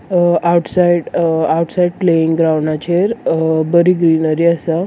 अ outside uh outside playing ग्राउंडाचेर uh बरी greenery आसा.